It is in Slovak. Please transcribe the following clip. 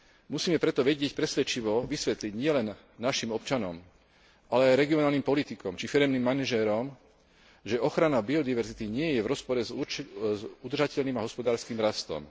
Musíme preto vedieť presvedčivo vysvetliť nielen našim občanom, ale aj regionálnym politikom či firemným manažérom, že ochrana biodiverzity nie je v rozpore s udržateľným a hospodárskym rastom.